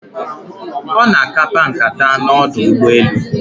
Ono akapa nkata na ọdụ ụgbọ elu